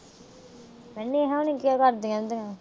ਨੇਹਾ ਨੂੰ ਨੀ ਘਰ ਦੇ ਕਹਿੰਦੇ ਆ।